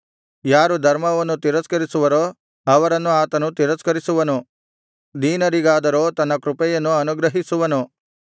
ಯಾರು ಧರ್ಮವನ್ನು ತಿರಸ್ಕರಿಸುವರೋ ಅವರನ್ನು ಆತನು ತಿರಸ್ಕರಿಸುವನು ದೀನರಿಗಾದರೋ ತನ್ನ ಕೃಪೆಯನ್ನು ಅನುಗ್ರಹಿಸುವನು